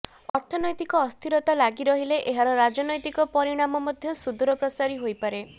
ଅର୍ଥନୈତିକ ଅସ୍ଥିରତା ଲାଗି ରହିଲେ ଏହାର ରାଜନୈତିକ ପରିଣାମ ମଧ୍ୟ ସୁଦୂରପ୍ରସାରୀ ହୋଇପାରେ